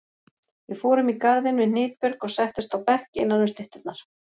Við fórum í garðinn við Hnitbjörg og settumst á bekk innanum stytturnar.